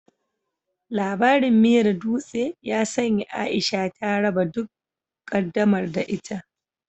Labarin miyar dutse ya sanya Aisha ta raba duk ƙaddamar da ita.